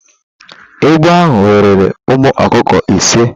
Egbe ahụ weere ụmụ ọkụkọ ise.